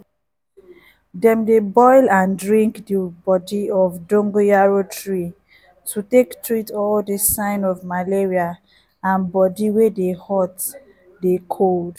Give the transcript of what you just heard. dem dey boil and drink di bodi of dongoyaro tree to take treat all di sign of malaria and bodi wey dey hot dey cold.